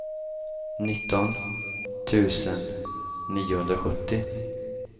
nitton tusen niohundrasjuttio